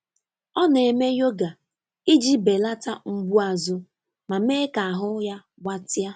Ọ na-eme yoga iji belata mgbu azụ ma mee ka ahụ ya gbatịa.